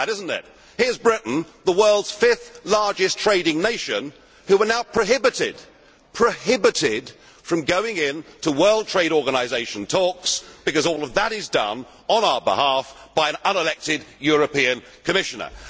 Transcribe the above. Funny that, is it not? Here is Britain, the world's fifth largest trading nation, which is now prohibited from going into World Trade Organisation talks because all of that is done, on our behalf, by an unelected European Commissioner.